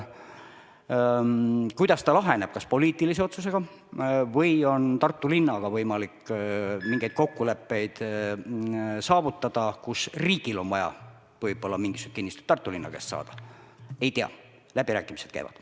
Kuidas see laheneb, kas poliitilise otsusega või on Tartu linnaga võimalik mingeid kokkuleppeid saavutada, kus riigil on vaja võib-olla mingisugust kinnistut Tartu linna käest saada, ei tea, läbirääkimised käivad.